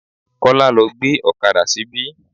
Kola lọ́ gbé ọ̀kadà síbí.